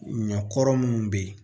Ɲɔ kɔrɔ munnu be ye